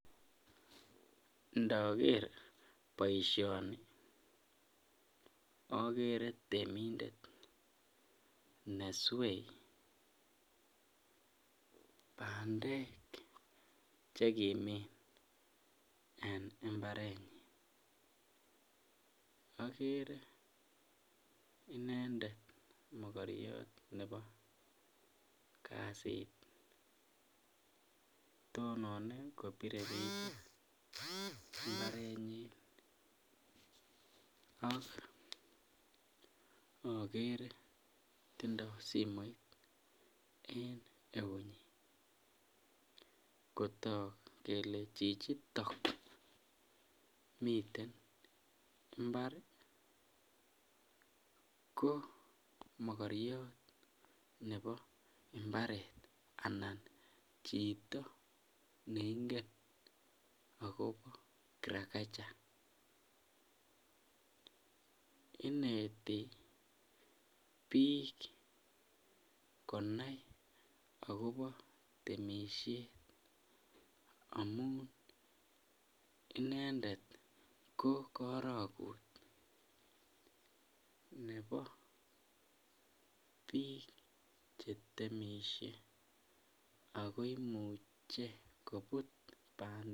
ndoger boisioni akere temindet neswee bandek chekimin en mbarenyin akere inendet mokoriot nebo kasit tononen kobire picha mbarenyin ak akere tindoo simoit en eunyin kotok kele chichitok miten mbar koo mokriot nebo mbaret anan chito neingen akobo kirakacha, ineti biik konai akobo temisiet amun inendet ko karokut nebo biik chetemishe ako imuche kobut bandek.